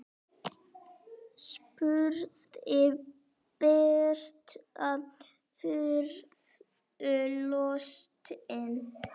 spurði Berta furðu lostin.